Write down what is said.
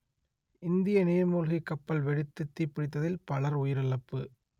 இந்திய நீர்மூழ்கிக் கப்பல் வெடித்துத் தீப்பிடித்ததில் பலர் உயிரிழப்பு